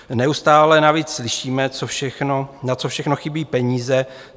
Neustále navíc slyšíme, na co všechno chybí peníze.